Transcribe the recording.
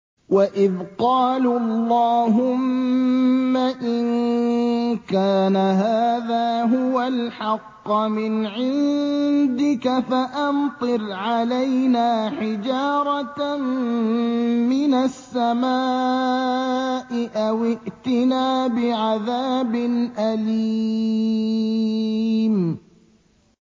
وَإِذْ قَالُوا اللَّهُمَّ إِن كَانَ هَٰذَا هُوَ الْحَقَّ مِنْ عِندِكَ فَأَمْطِرْ عَلَيْنَا حِجَارَةً مِّنَ السَّمَاءِ أَوِ ائْتِنَا بِعَذَابٍ أَلِيمٍ